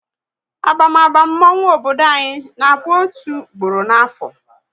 Abamaba mmonwu obodo anyị na bụ otu gboro n'afo